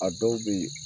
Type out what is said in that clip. A dɔw bɛ yen